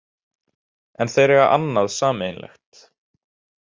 En þeir eiga annað sameiginlegt